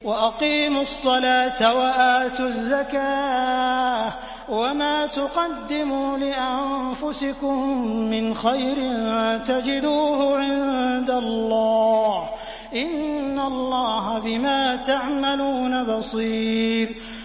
وَأَقِيمُوا الصَّلَاةَ وَآتُوا الزَّكَاةَ ۚ وَمَا تُقَدِّمُوا لِأَنفُسِكُم مِّنْ خَيْرٍ تَجِدُوهُ عِندَ اللَّهِ ۗ إِنَّ اللَّهَ بِمَا تَعْمَلُونَ بَصِيرٌ